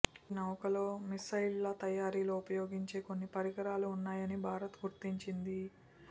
ఈ నౌకలో మిస్సైళ్ల తయారీలో ఉపయోగించే కొన్ని పరికరాలు ఉన్నాయని భారత్ గుర్తించింది